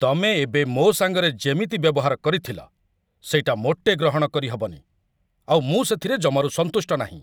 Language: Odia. ତମେ ଏବେ ମୋ' ସାଙ୍ଗରେ ଯେମିତି ବ୍ୟବହାର କରିଥିଲ, ସେଇଟା ମୋଟେ ଗ୍ରହଣ କରିହବନି, ଆଉ ମୁଁ ସେଥିରେ ଜମାରୁ ସନ୍ତୁଷ୍ଟ ନାହିଁ ।